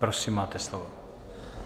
Prosím, máte slovo.